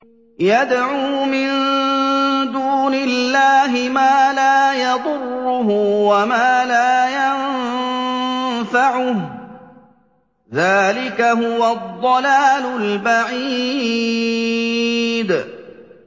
يَدْعُو مِن دُونِ اللَّهِ مَا لَا يَضُرُّهُ وَمَا لَا يَنفَعُهُ ۚ ذَٰلِكَ هُوَ الضَّلَالُ الْبَعِيدُ